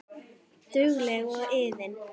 Dugleg og iðin.